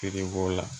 Kiri b'o la